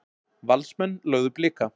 Valsmenn lögðu Blika